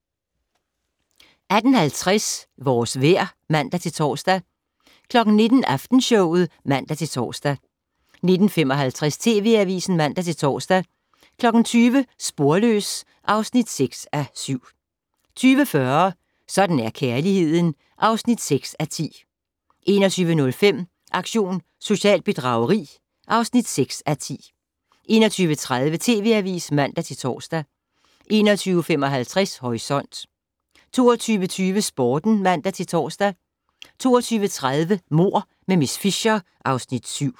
18:50: Vores vejr (man-tor) 19:00: Aftenshowet (man-tor) 19:55: TV Avisen (man-tor) 20:00: Sporløs (6:7) 20:40: Sådan er kærligheden (6:10) 21:05: Aktion socialt bedrageri (6:10) 21:30: TV Avisen (man-tor) 21:55: Horisont 22:20: Sporten (man-tor) 22:30: Mord med miss Fisher (Afs. 7)